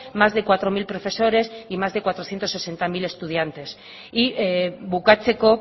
más de cuatro mil profesores y más de cuatrocientos sesenta mil estudiantes bukatzeko